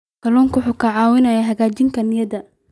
Kalluunku wuxuu caawiyaa hagaajinta niyadda.